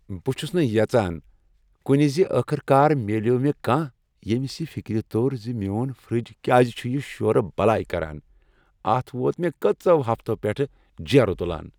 بہ چھُس نہ ویژان کُنہ زِ ٲخر کار میلیوو مےٚ کانٛہہ ییٚمس یہ فکر توٚر زِ میون فرج کیاز چُھ یہ شورٕ بلاے کران اتھ ووت مےٚ کٔژو ہفتو پیٹھٕ جیرٕ تلان